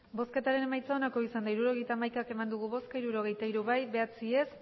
hirurogeita hamaika eman dugu bozka hirurogeita hiru bai bederatzi ez